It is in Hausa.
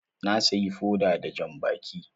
Na siyi foda da jan baki.